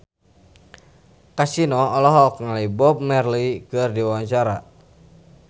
Kasino olohok ningali Bob Marley keur diwawancara